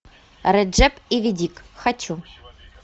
реджеп иведик хочу